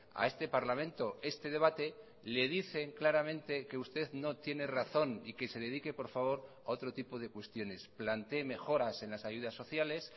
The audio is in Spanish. a este parlamento este debate le dicen claramente que usted no tiene razón y que se dedique por favor a otro tipo de cuestiones plantee mejoras en las ayudas sociales